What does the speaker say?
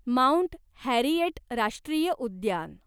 mount Harriet राष्ट्रीय उद्यान